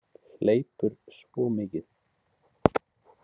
Hleypur svo mikið.